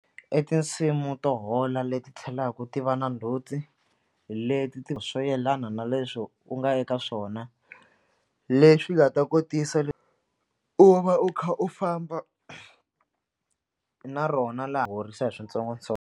I tinsimu to hola leti tlhelaku ti va na ndzhuti hi leti ti swo yelana na leswo u nga eka swona leswi nga ta kotisa u va u kha u famba na rona laha horisa hi swintsongontsongo.